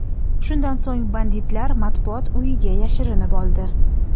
Shundan so‘ng banditlar Matbuot uyiga yashirinib oldi.